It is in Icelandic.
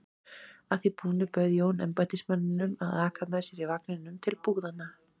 Að því búnu bauð Jón embættismanninum að aka með sér í vagninum til búðanna.